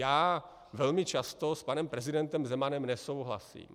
Já velmi často s panem prezidentem Zemanem nesouhlasím.